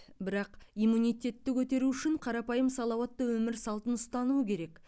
бірақ иммунитетті көтеру үшін қарапайым салауатты өмір салтын ұстану керек